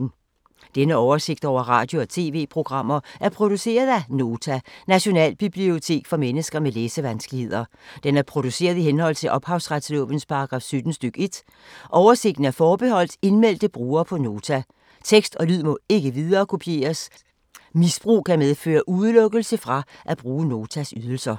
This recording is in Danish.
Denne oversigt over radio og TV-programmer er produceret af Nota, Nationalbibliotek for mennesker med læsevanskeligheder. Den er produceret i henhold til ophavsretslovens paragraf 17 stk. 1. Oversigten er forbeholdt indmeldte brugere på Nota. Tekst og lyd må ikke viderekopieres. Misbrug kan medføre udelukkelse fra at bruge Notas ydelser.